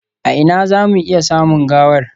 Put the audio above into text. A ina za mu iya samun gawar?